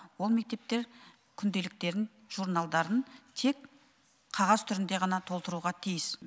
ол мектептер күнделіктерін журналдарын тек қағаз түрінде ғана толтыруға тиіс